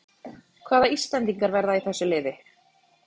Hvaða íslendingar verða í þessu liði?